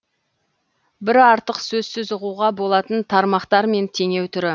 бір артық сөзсіз ұғуға болатын тармақтар мен теңеу түрі